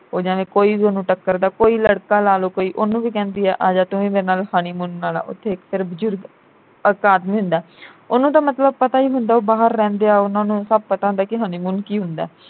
ਓ ਜਾਣੇ ਕੋਈ ਵੀ ਉਹਨੂੰ ਟਕਰਦਾ ਕੋਈ ਲੜਕਾ ਲਾ ਲੋ ਕੋਈ ਉਹਨੂੰ ਵੀ ਕਹਿੰਦੀ ਐ ਆਜਾ ਤੂੰ ਵੀ ਮੇਰੇ ਨਾਲ honeymoon ਮਨਾਲਾ। ਉਥੇ ਫਿਰ ਬਜ਼ੁਰਗ ਇਕ ਆਦਮੀ ਹੁੰਦਾ ਉਹਨੂੰ ਤਾਂ ਮਤਲਬ ਪਤਾ ਈ ਹੁੰਦਾ ਉਹ ਬਾਹਰ ਰਹਿੰਦਿਆਂ ਉਨ੍ਹਾਂ ਨੂੰ ਸਭ ਪਤਾ ਹੁੰਦਾ ਕਿ honeymoon ਕੀ ਹੁੰਦਾ